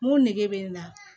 Mun nege bɛ n na